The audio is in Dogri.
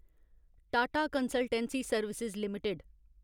Tata consultancy service limited